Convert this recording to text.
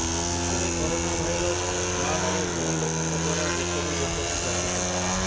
ବିଶ୍ୱରେ corona virus ମହାମାରୀ ଧନୀ ଲୋକଙ୍କ ଦ୍ୱାରା ଦେଶରୁ ଦେଶକୁ ବ୍ୟାପିଥିଲା